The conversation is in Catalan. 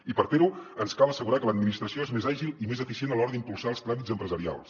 i per fer ho ens cal assegurar que l’administració és més àgil i més eficient a l’hora d’impulsar els tràmits empresarials